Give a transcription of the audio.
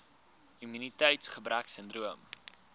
immuniteits gebrek sindroom